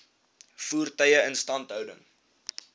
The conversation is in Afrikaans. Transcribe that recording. voertuie instandhouding